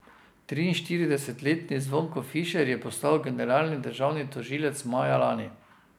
Triinšestdesetletni Zvonko Fišer je postal generalni državni tožilec maja lani.